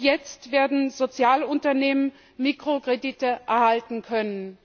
Jetzt werden auch soziale Unternehmen Mikrokredite erhalten können.